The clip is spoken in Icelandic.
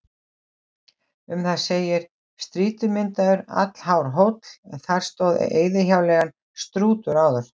Um það segir: Strýtumyndaður, allhár hóll, en þar stóð eyðihjáleigan Strútur áður.